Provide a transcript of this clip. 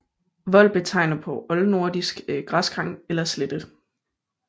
Vold betegner på oldnordisk græsgang eller slette